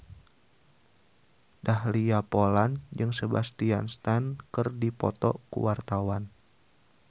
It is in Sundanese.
Dahlia Poland jeung Sebastian Stan keur dipoto ku wartawan